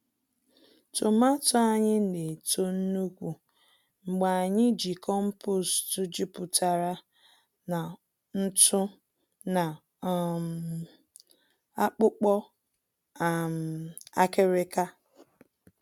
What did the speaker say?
Tomààto anyị na-eto nnukwu mgbe anyị ji compost jupụtara na ntụ na um akpụkpọ um akịrịka.